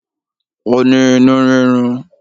Ó ní inú rírun